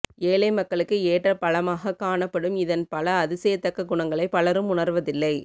எளிய மக்களுக்கு ஏற்ற பழமாக காணப்படும் இதன் பல அதிசயத்தக்க குணங்களை பலரும் உணர்வதில்லை